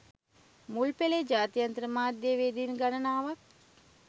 මුල් පෙලේ ජාත්‍යන්තර මාධ්‍ය වේදීන් ගණනාවක්